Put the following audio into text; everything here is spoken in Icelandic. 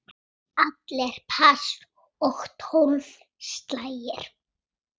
Allir pass og tólf slagir.